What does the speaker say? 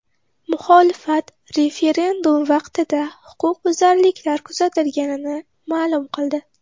Muxolifat referendum vaqtida huquqbuzarliklar kuzatilganini ma’lum qildi.